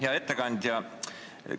Hea ettekandja!